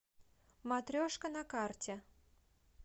матрешка на карте